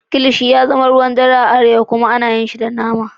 Kilishi ya zama ruwan dare a arewa kuma ana yin shi da nama.